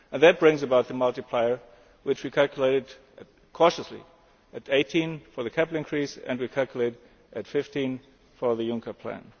That brings about the multiplier, which we calculated cautiously at 18 for the capital increase and at 15 for the Juncker Plan.